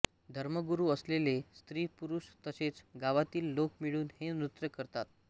धर्मगुरू असलेले स्त्री पुरुष तसेच गावातील लोक मिळून हे नृत्य करतात